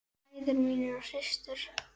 Bræður mínir og systur.